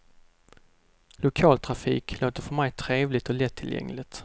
Lokaltrafik låter för mig trevligt och lättillgängligt.